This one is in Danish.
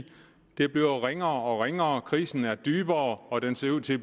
det er blevet ringere og ringere krisen er blevet dybere og den ser ud til at